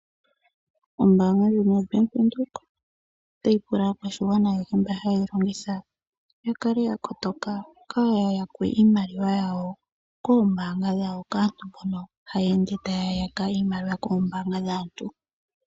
Ombanga yaVenduka otayi pula aakwashigwana ayehe mboka haya longitha yakale ya kotoka kaaya yakwe iimaliwa yawo koombanga dhawo kaantu mbono haya ende taya yaka iimaliwa koombaanga dhaantu.